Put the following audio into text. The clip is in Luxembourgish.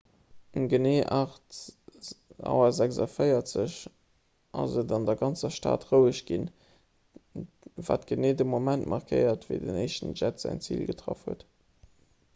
um genee 8.46 auer ass et an der ganzer stad roueg ginn wat de geneeë moment markéiert wéi den éischten jett säin zil getraff huet